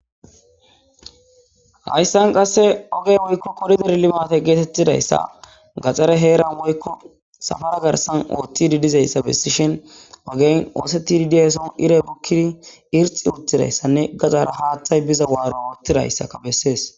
Hayssan qasse oggey woykko koridere limatte gettetidayssa gaxare heeran woykko sapara garssan oththidi diizayssa bessishin oggey oththetiidi dizasson iiray bukkidi irxxi uttidayssane gaxara haththay biiza waaro oththidayssa besses.